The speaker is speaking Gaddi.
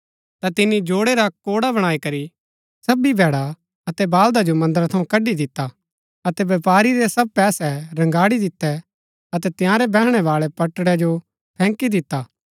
ता तिनी जोडै रा कोडा बणाई करी सभी भैडा अतै बाल्दा जो मन्दरा थऊँ कडी दिता अतै व्यपारी रै सब पैसै रगांडी दितै अतै तंयारै बैहणै बाळै पटडै जो फैंकी दिता